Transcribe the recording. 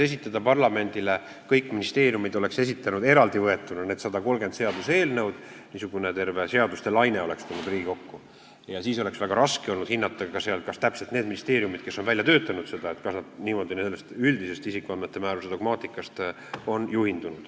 Esiteks, kõik ministeeriumid oleksid esitanud parlamendile eraldi võetuna need 130 seaduseelnõu, terve seaduste laine oleks tulnud Riigikokku ja siis oleks väga raske olnud hinnata, kas need ministeeriumid, kes on selle kõik välja töötanud, on juhindunud üldisest isikuandmete määruse dogmaatikast.